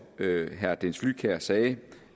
herre dennis flydtkjær sagde